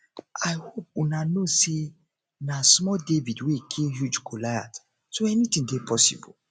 i hope una know say na know say na small david wey kill huge goliath so anything dey possible